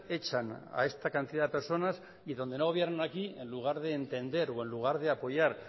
echan a esta cantidad de personas y donde no gobiernan aquí en lugar de entender o en lugar de apoyar